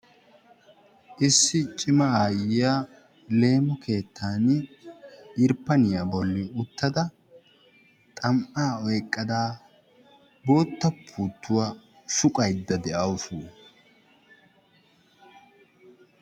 Issi cima aayyiya leemo keettan irppaniyaa bollan uttada xam''aa oyqqada bootta puuttuwa suqqayda de'awusu.